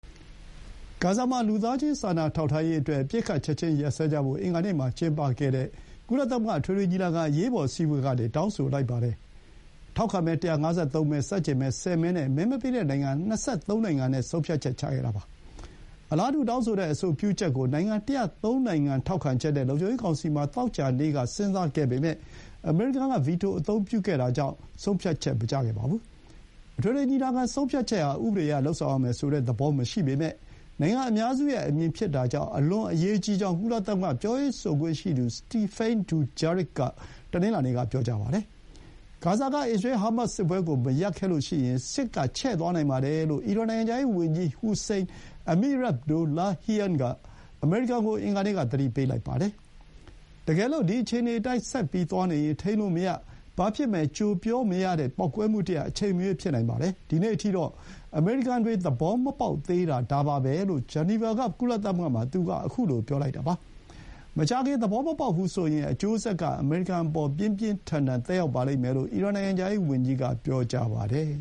ဂါဇာမှာ လူသားချင်းစာနာထောက်ထားရေး အပစ်အခတ်ချက်ချင်းရပ်စဲဖို့ အင်္ဂါနေ့မှာ ကျင်းပခဲ့တဲ့ ကုလသမဂ္ဂ အထွေထွေညီလာခံ အရေးပေါ်အစည်းအဝေးက တောင်းဆိုလိုက်ပါတယ်။ ထောက်ခံမဲ ၁၅၃ မဲ၊ ဆန့်ကျင်မဲ ၁၀ မဲနဲ့ မဲမပေးတဲ့ နိုင်ငံ ၂၃ နိုင်ငံနဲ့ ဆုံးဖြတ်ခဲ့တာပါ။ အလားတူတောင်းဆိုတဲ့ အဆိုပြုချက်ကို နိုင်ငံ ၁၀၃ နိုင်ငံ ထောက်ခံချက်နဲ့ လုံခြုံရေးကောင်စီမှာ သောကြာနေ့က စဥ်းစားခဲ့ပေမဲ့ အမေရိကန်က ဗီတိုအသုံးပြုလိုက်တာကြောင့် ဆုံးဖြတ်ချက်မကျခဲ့ပါဘူး။ အထွေထွေညီလာခံ ဆုံးဖြတ်ချက်ဟာ ဥပဒေအရ လုပ်ဆောင်ရမယ်ဆိုတဲ့သဘော မရှိပေမဲ့ နိုင်ငံအများစုရဲ့အမြင်ဖြစ်တာကြောင့် အလွန်အရေးကြီးကြောင်း ကုလသမဂ္ဂ ပြောရေးဆိုခွင့်ရှိသူ Stephane Dujarric က တနင်္လာနေ့က ပြောပါတယ်။ ဂါဇာက အစ္စရေး-ဟားမတ်စ် စစ်ပွဲကို မရပ်ခဲ့ရင် စစ်ကချဲ့သွားနိုင်တယ်လို့ အီရန် နိုင်ငံခြားရေးဝန်ကြီး ဟူစိန် အမီရာဘ်ဒိုလာဟီယံ (Hossein Amirabdollahian) က အမေရိကန်ကို အင်္ဂါနေ့က သတိပေးလိုက်ပါတယ်။ ‘တကယ်လို့ ဒီ အခြေအနေအတိုင်း ဆက်သွားနေရင် ထိန်းလို့မရ၊ ဘာဖြစ်မယ်ကြိုပြောမရတဲ့ ပေါက်ကွဲမှုတရပ် အချိန်မရွေး ဖြစ်နိုင်ပါတယ်။ ဒီနေ့အထိ အမေရိကန်တွေ သဘောမပေါက်သေးတာ ဒါပါပဲ’ လို့ ဂျနီဗာက ကုလသမဂ္ဂမှာ သူက ခုလို ပြောလိုက်တာဖြစ်ပါတယ်။ မကြာခင် သဘောမပေါက်ဘူးဆိုရင် အကျိုးဆက်က အမေရိကန်အပေါ် ပြင်းပြင်းထန်ထန် သက်ရောက်ပါလိမ့်မယ်လို့ အီရန် နိုင်ငံခြားရေးဝန်ကြီးက ပြောပါတယ်